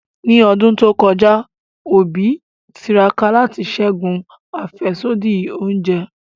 Ni ọdun to kọja, Obi tiraka lati ṣẹgun afẹsodi ounjẹ.